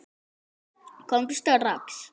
Komdu strax!